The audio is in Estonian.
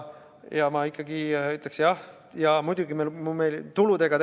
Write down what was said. Ja ma ikkagi ütleks, et muidugi me tegelesime ka tuludega.